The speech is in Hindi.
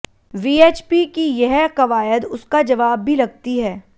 वीएचपी की यह कवायद उसका जवाब भी लगती है